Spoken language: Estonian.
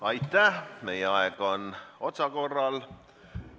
Aitäh, meie aeg on otsakorral.